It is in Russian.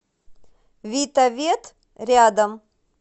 витавет рядом